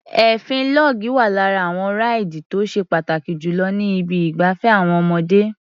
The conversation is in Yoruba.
Èéfín log wá lára àwọn ráìdì tó ṣe pàtàkì jù lọ ní ibi ìgbafẹ́ àwọn ọmọdé.